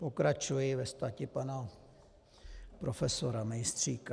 Pokračuji ve stati pana profesora Mejstříka.